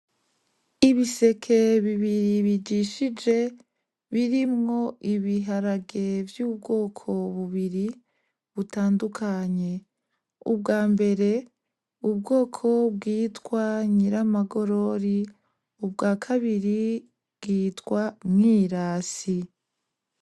Ibiseke bibiri bijishije birimwo ibiharage vy'ubwoko bubiri butandukanye ubwa mbere ubwoko bwitwa Nyiramagorori ubwa kabiri bwitwa Mwirasi.